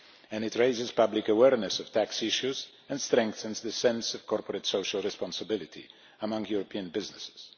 It also raises public awareness of tax issues and strengthens the sense of corporate social responsibility among European businesses.